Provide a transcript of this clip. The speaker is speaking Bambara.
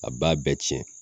A b'a bɛɛ cɛn